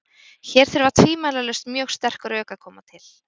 Hér þurfa tvímælalaust mjög sterk rök að koma til.